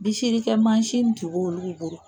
Bisirikɛ mansin tun bo olugu bolo.